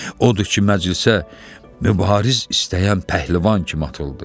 Odur ki, məclisə mübariz istəyən pəhləvan kimi atıldı.